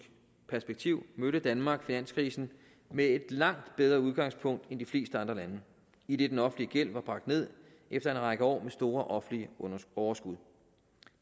perspektiv mødte danmark finanskrisen med et langt bedre udgangspunkt end de fleste andre lande idet den offentlige gæld var bragt ned efter en række år med store offentlige overskud